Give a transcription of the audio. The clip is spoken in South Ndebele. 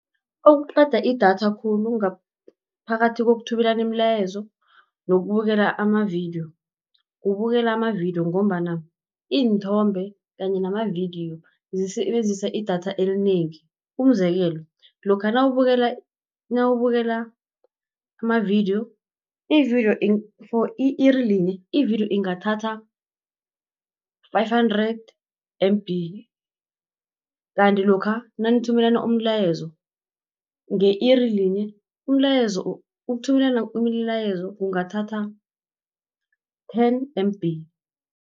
Okuqeda idatha khulu phakathi kokuthumelana imilayezo nokubukela amavidiyo. Kubukela amavidiyo ngombana, iinthombe kanye namavidiyo zisebenzisa idatha elinengi, umzekelo, lokha nawubukela amavidiyo, for i-iri linye ividiyo ingathatha five hundred M_B, kanti lokha nanithumelana umlayezo nge-iri linye, ukuthumelana imilayezo kungathatha ten M_B.